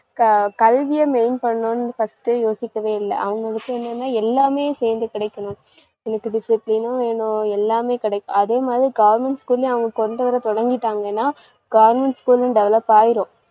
க~ கல்விய mean பண்ணுன்னு first ஏ யோசிக்கவே இல்ல அவங்க விஷயம் என்னன்னா எல்லாமே சேர்ந்து கிடைக்கணும், எனக்கு discipline உம் வேணும் எல்லாமே கிடைக்~. அதேமாதிரி government school லயும் அவங்க கொண்டுவர தொடங்கிட்டாங்கன்னா government school உம் develop ஆயிரும்